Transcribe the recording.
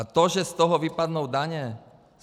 A to, že z toho vypadnou daně.